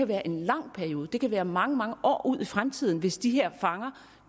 være en lang periode det kan være mange mange år ud i fremtiden hvis de her fanger